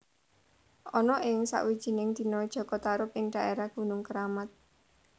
Ana ing sakwijining dina Jaka Tarub ing daérah Gunung Keramat